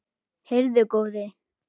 Heyrðu góði!